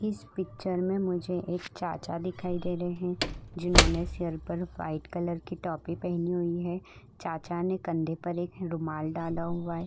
इस पिक्चर में मुझे एक चाचा दिखाई दे रहे है जिन्होंने सिर पर व्हाइट कलर की टोपी पहनी हुई है। चाचा ने कंधे पर एक रुमाल डाला हुआ है।